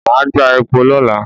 Màá gbá epo lọ́la.